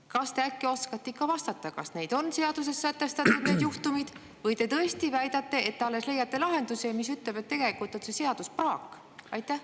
Kas te äkki oskate ikka vastata, kas need juhtumid on seaduses sätestatud, või te tõesti väidate, et alles lahendusi, mis, et tegelikult on see seadus praak?